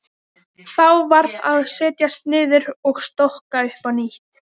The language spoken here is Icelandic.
Þá varð að setjast niður og stokka upp á nýtt.